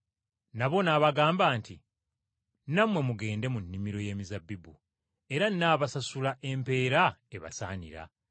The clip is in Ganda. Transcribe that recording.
nabo n’abagamba nti, ‘Nammwe mugende mu nnimiro y’emizabbibu, era nnaabasasula empeera ebasaanira.’